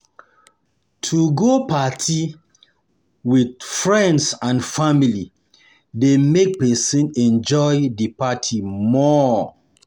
To um go um party with friends and family de make persin enjoy di party more